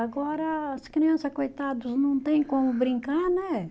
Agora, as criança, coitados, não tem como brincar, né?